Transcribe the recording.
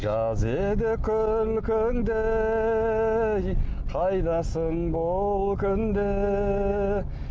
жаз еді күлкіңде ей қайдасың бұл күнде